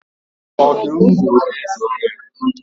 ọdụm bụ eze ọhịa.